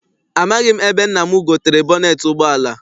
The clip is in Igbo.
Amaghị m ebe nna m gotere bọneet ụgbọala.